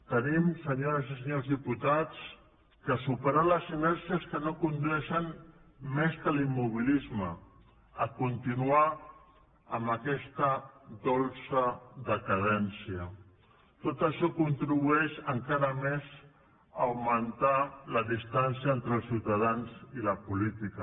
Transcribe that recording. tenim senyores i senyors diputats de superar les sinergies que no condueixen més que a l’immobilisme a continuar amb aquesta dolça decadència tot això contribueix encara més a augmentar la distància entre els ciutadans i la política